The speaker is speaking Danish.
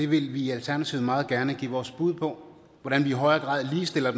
vil i alternativet meget gerne give vores bud på hvordan vi i højere grad ligestiller